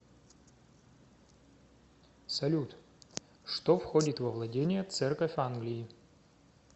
салют что входит во владения церковь англии